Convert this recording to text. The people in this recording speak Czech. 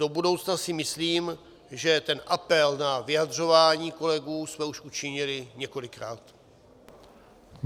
Do budoucna si myslím, že ten apel na vyjadřování kolegů jsme už učinili několikrát.